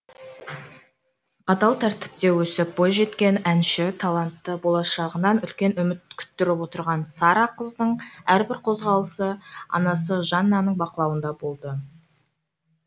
қатал тәртіпте өсіп бойжеткен әнші талантты болашағынан үлкен үміт күттіріп отырған сара қыздың әрбір қозғалысы анасы жаннаның бақылауында болды